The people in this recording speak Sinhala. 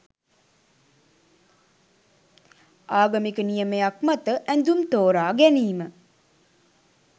ආගමික නියමයක් මත ඇඳුම් තෝරා ගැනීම